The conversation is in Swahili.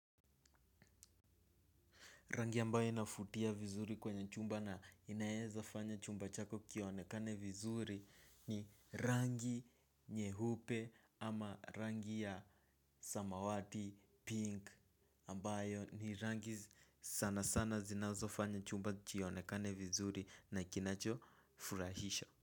Rangi ambayo inavutia vizuri kwenye chumba na inaeza fanya chumba chako kionekane vizuri ni rangi nyeupe ama rangi ya samawati pink ambayo ni rangi sana sana zinazofanya chumba kionekane vizuri na kinacho furahisha.